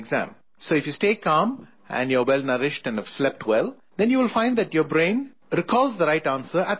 So if you stay calm and you are well nourished and have slept well, then you will find that your brain recalls the right answer at the right moment